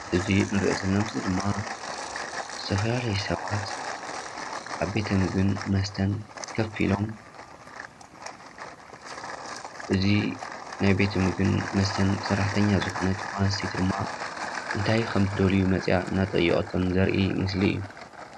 እዚ እንሪኦ ዘለና ምስሊ ድማ ዝተፈላለዩ ሰባት አብ ቤተ ምግቢን መስተን ከፍ ኢሎም እዚ ናይ ቤተ ምግቢን መስተን ሰራሕተኛ ዝኮነት ጓል አንስተይቲ ድማ እንታይ ከምዝደልዩ መፂያ እናጠየቀቶም ዘርኢ ምስሊ እዩ፡፡